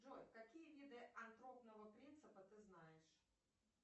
джой какие виды антропного принципа ты знаешь